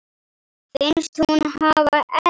Finnst hún hafa elst.